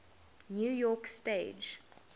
new york stage